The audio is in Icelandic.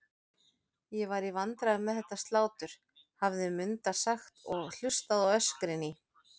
Ég var í vandræðum með þetta slátur, hafði Munda sagt og hlustað á öskrin í